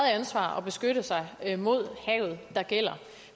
ansvar at beskytte sig mod havet der gælder